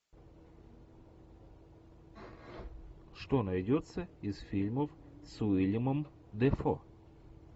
что найдется из фильмов с уиллемом дефо